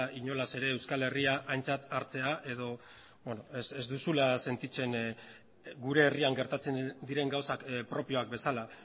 inolaz ere euskal herria aintzat hartzea edo ez duzula sentitzen gure herrian gertatzen diren gauzak propioak bezala